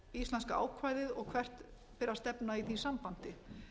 íslenska ákvæðið og hvert beri að stefna í því sambandi